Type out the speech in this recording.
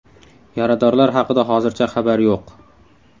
Yaradorlar haqida hozircha xabar yo‘q.